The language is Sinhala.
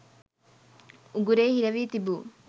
උගුරේ හිරවී තිබූ